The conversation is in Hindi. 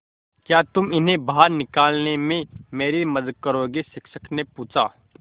क्या तुम इन्हें बाहर निकालने में मेरी मदद करोगे शिक्षक ने पूछा